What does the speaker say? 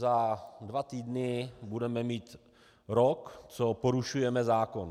Za dva týdny budeme mít rok, co porušujeme zákon.